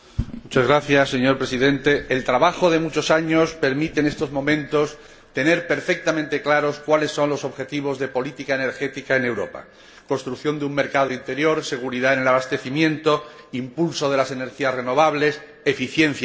Señor Presidente, el trabajo de muchos años permite en estos momentos tener perfectamente claros cuáles son los objetivos de política energética en Europa construcción de un mercado interior, seguridad en el abastecimiento, impulso de las energías renovables, eficiencia energética.